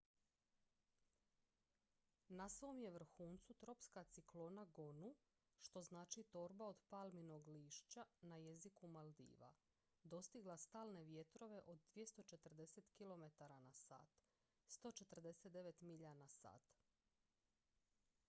"na svom je vrhuncu tropska ciklona gonu što znači "torba od palminog lišća" na jeziku maldiva dostigla stalne vjetrove od 240 kilometara na sat 149 milja na sat.